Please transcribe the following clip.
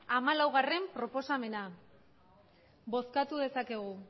hamalaugarrena proposamena